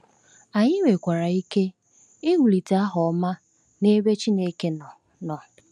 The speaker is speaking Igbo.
Anyị nwekwara ike iwulite aha ọma n’ebe Chineke nọ. nọ.